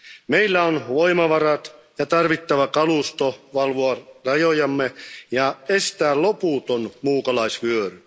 Meillä on voimavarat ja tarvittava kalusto valvoa rajojamme ja estää loputon muukalaisvyöry.